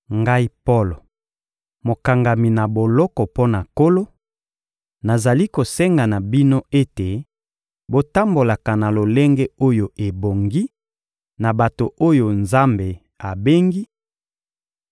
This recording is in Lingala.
Ngai Polo, mokangami na boloko mpo na Nkolo, nazali kosenga na bino ete botambolaka na lolenge oyo ebongi na bato oyo Nzambe abengi: